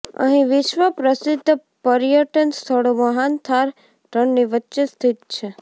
અહી વિશ્વ પ્રસિદ્ધ પર્યટન સ્થળો મહાન થાર રણની વચ્ચે સ્થિત છે